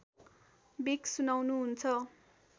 बिक सुनाउनुहुन्छ